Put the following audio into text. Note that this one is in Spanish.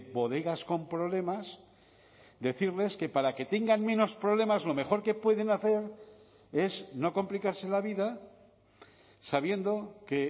bodegas con problemas decirles que para que tengan menos problemas lo mejor que pueden hacer es no complicarse la vida sabiendo que